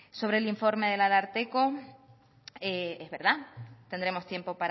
sobre el informe del ararteko es verdad tendremos tiempo